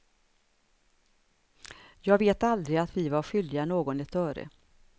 Jag vet aldrig att vi var skyldiga någon ett öre.